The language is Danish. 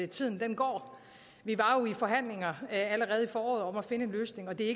tiden går vi var jo i forhandlinger allerede i foråret om at finde en løsning og det er